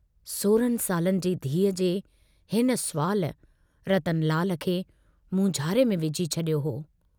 सोरहनि सालनि जी धीअ जे हिन सुवाल रतनलाल खे मूंझारे में विझी छड़यो हो।